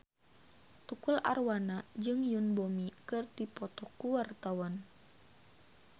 Tukul Arwana jeung Yoon Bomi keur dipoto ku wartawan